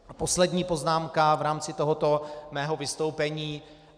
A poslední poznámka v rámci tohoto mého vystoupení.